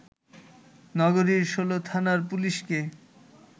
নগরীর ১৬ থানার পুলিশকে